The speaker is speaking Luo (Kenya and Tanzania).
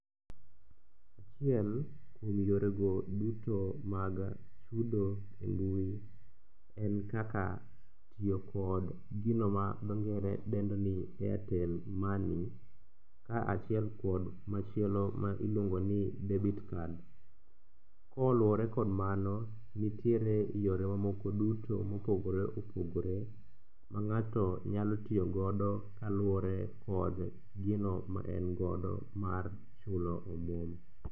Achiel kuom yorego duto mag chudo e mbui en kaka tiyo kod gino ma dho ngere dendo ni airtel money kaachiel kod machielo ma iluongo ni debit card. Koluwore kod mano, nitiere yore mamoko suto mopogore opogore ma ng'ato nyalo tiyogodo kaluwore kod gino maengodo mar chulo omuom.